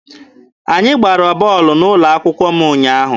Anyị gbara bọọlụ n'ụlọ akwụkwọ m ụnyaahụ.